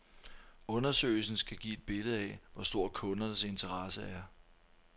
Undersøgelsen skal give et billede af, hvor stor kundernes interesse er.